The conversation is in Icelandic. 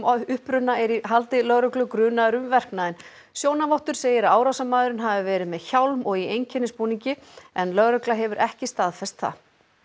uppruna er í haldi lögreglu grunaður um verknaðinn sjónarvottur segir að árásarmaðurinn hafi verið með hjálm og í einkennisbúningi en lögregla hefur ekki staðfest það